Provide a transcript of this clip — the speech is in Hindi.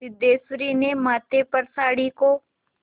सिद्धेश्वरी ने माथे पर साड़ी को